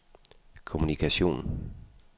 kommunikation